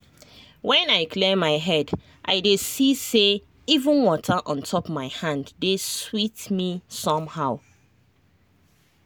when i clear my head i dey see say even water on top my hand dey sweet me somehow.